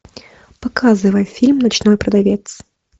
показывай фильм ночной продавец